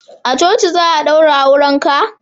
a coci za a daura auren ka?